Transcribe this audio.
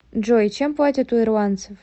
джой чем платят у ирландцев